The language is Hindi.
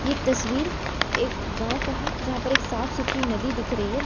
यह तस्वीर एक गांव का है जहां पर एक साफ सुथरी नदी दिख रही है।